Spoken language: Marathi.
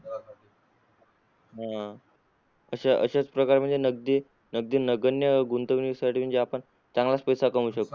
आह अशाच प्रकारे म्हणजे नगदी नगदी नगण्य गुंतवणुकीसाठी आपण चांगलाच पैसा कमावू शकतो.